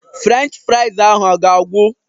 Frenchị frais ahụ a ga-agwụ?